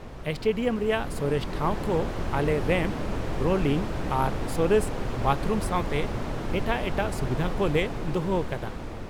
Stadium ᱨᱮᱭᱟᱜ ᱥᱚᱨᱮᱥ ᱴᱷᱟᱶ ᱠᱚ ᱟᱞᱮ ᱨᱮᱢᱯ, ᱨᱳᱞᱤᱝ ᱟᱨ ᱥᱚᱨᱮᱥ ᱵᱟᱛᱷᱨᱩᱢ ᱥᱟᱶᱛᱮ ᱮᱴᱟᱜ ᱮᱴᱟᱜ ᱥᱩᱵᱤᱫᱷᱟ ᱠᱚ ᱞᱮ ᱫᱚᱦᱚ ᱟᱠᱟᱫᱟ ᱾